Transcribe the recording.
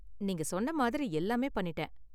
நீங்க சொன்ன மாதிரி எல்லாமே பண்ணிட்டேன்.